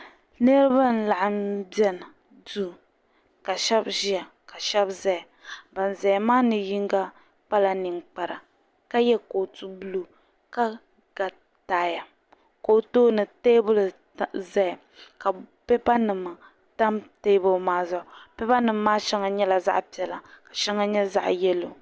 Niriba n-laɣim be duu ka shɛba ʒia ka shɛba zaya ban ʒia maa ni yiŋga kpala niŋkpara ka ye kootu buluu ka lo taaya ka o tooni teebuli zaya ka pipanima pa teebuli maa zuɣu pipanima maa shɛŋa nyɛla zaɣ' piɛla ka shɛŋa nyɛ yɛlo.